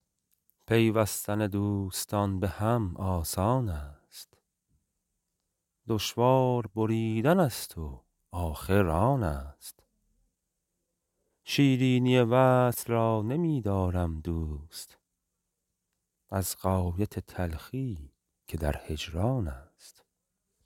پیوستن دوستان به هم آسان است دشوار بریدن است و آخر آن است شیرینی وصل را نمی دارم دوست از غایت تلخیی که در هجران است